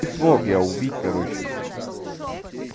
смог я убить короче